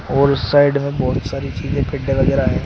और उस साइड में बहोत सारी चीजे वगैरा है।